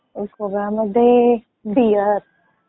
गोव्यामध्ये, बियर.